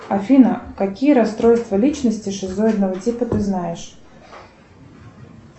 афина какие расстройства личности шизоидного типа ты знаешь